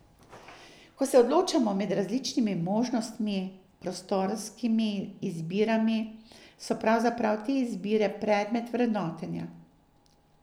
Ko se odločamo med različnimi možnimi prostorskimi izbirami, so pravzaprav te izbire predmet vrednotenja.